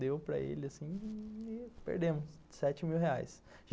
Deu para ele assim e perdemos sete mil reais.